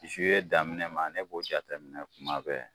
daminɛ ma ne b'o jateminɛ kuma bɛɛ